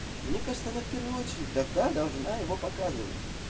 мне кажется она в первую очередь тогда должна его показывать